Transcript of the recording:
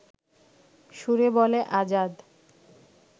সুরে বলে আজাদ